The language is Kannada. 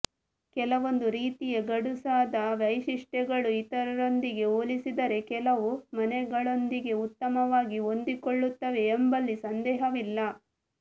ಕೆಲವೊಂದು ರೀತಿಯ ಗಡುಸಾದ ವೈಶಿಷ್ಟ್ಯಗಳು ಇತರರೊಂದಿಗೆ ಹೋಲಿಸಿದರೆ ಕೆಲವು ಮನೆಗಳೊಂದಿಗೆ ಉತ್ತಮವಾಗಿ ಹೊಂದಿಕೊಳ್ಳುತ್ತವೆ ಎಂಬಲ್ಲಿ ಸಂದೇಹವಿಲ್ಲ